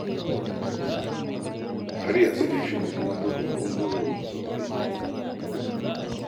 Har yanzu dai shiru mun buga, mun buga ba mu samu aiki ba